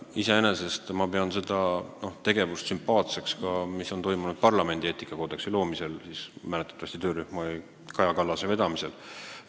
Iseenesest ma pean sümpaatseks ka seda tegevust, mida vedas Kaja Kallase juhitud töörühm parlamendi eetikakoodeksi loomisel.